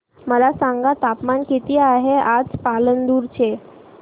मला सांगा तापमान किती आहे आज पालांदूर चे